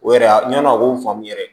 O yɛrɛ ya ɲ'a a k'o faamu yɛrɛ